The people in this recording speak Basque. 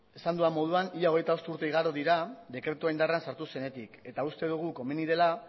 esan dudan moduan ia hogeita bost urte igaro dira dekretua indarrean sartu zenetik eta uste dugu komeni dela